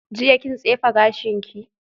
Jiya kin tsefe gashinki?